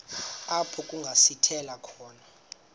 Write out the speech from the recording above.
apho kungasithela khona